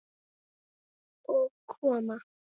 Og koma